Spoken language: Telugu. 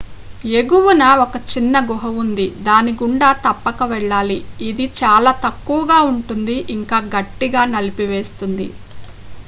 ఎగువన ఒక చిన్న గుహ ఉంది దాని గుండా తప్పక వెళ్ళాలి ఇది చాలా తక్కువగా ఉంటుంది ఇంకా గట్టిగా నలిపివేస్తుంది